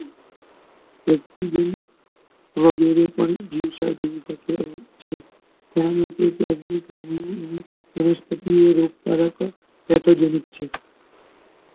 વગેરે ની વિવિધ જીવ છે તે રીતે વિવિધ વનસ્પતિ ઓ પ્રચલિત છે